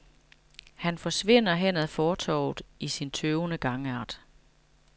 Han forsvinder hen ad fortovet i sin tøvende gangart.